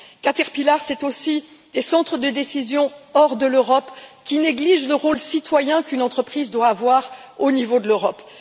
Caterpillar, c'est aussi des centres de décision hors de l'Europe, qui négligent le rôle citoyen qu'une entreprise doit avoir au niveau de l'Europe.